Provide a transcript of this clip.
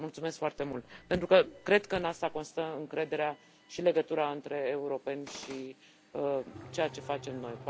Mulțumesc foarte mult, deoarece cred că în asta constă încrederea și legătura între europeni și ceea ce facem noi.